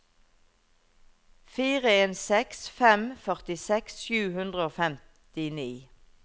fire en seks fem førtiseks sju hundre og femtini